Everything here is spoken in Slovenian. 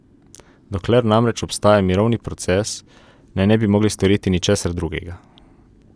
Dokler namreč obstaja mirovni proces, naj ne bi mogli storiti ničesar drugega.